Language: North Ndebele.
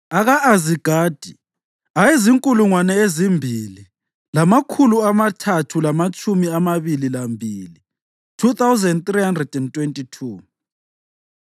aka-Azigadi ayezinkulungwane ezimbili lamakhulu amathathu lamatshumi amabili lambili (2,322),